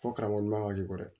Fɔ karamɔgɔ ɲuman ka jugu dɛ